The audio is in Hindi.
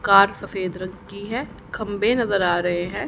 कार सफेद रंग की है खंभे नजर आ रहे हैं।